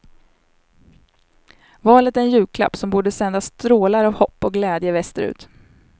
Valet är en julklapp som borde sända strålar av hopp och glädje väster ut.